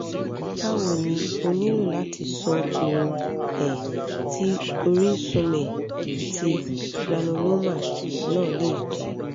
bawo ni o nilo lati so ohun um ti orisunme ti granuloma na le je